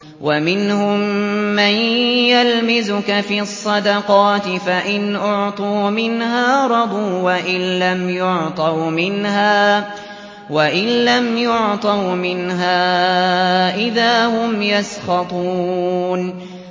وَمِنْهُم مَّن يَلْمِزُكَ فِي الصَّدَقَاتِ فَإِنْ أُعْطُوا مِنْهَا رَضُوا وَإِن لَّمْ يُعْطَوْا مِنْهَا إِذَا هُمْ يَسْخَطُونَ